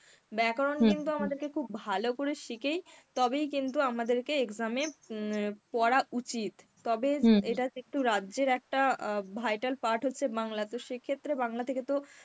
ব্যাকরণ কিন্তু আমাদেরকে খুব ভালো করে শিখেই তবেই কিন্তু আমাদেরকে exam এ উম পড়া উচিত. তবে একটাকে একটু রাজ্যের একটা আ vital part হচ্ছে বাংলা তো সেক্ষেত্রে বাংলা থেকে তো